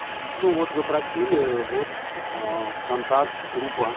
ну вот вы просили вот в контакт трупа